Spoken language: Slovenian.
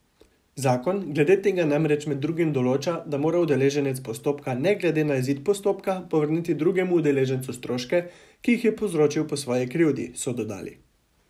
Zakon glede tega namreč med drugim določa, da mora udeleženec postopka ne glede na izid postopka povrniti drugemu udeležencu stroške, ki jih je povzročil po svoji krivdi, so dodali.